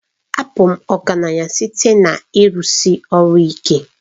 Abụ m ọgaranya site na ịrụsi ọrụ ike.